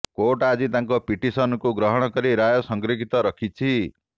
court ଆଜି ତାଙ୍କ ପିଟିସନ୍କୁ ଗ୍ରହଣ କରି ରାୟ ସଂରକ୍ଷିତ ରଖିଛନ୍ତି